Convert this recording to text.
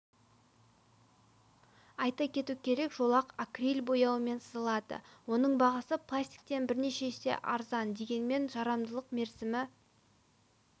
айта кету керек жолақ акриль бояуымен сызылады оның бағасы пластиктен бірнеше есе арзан дегенмен жарамдылық мерзімі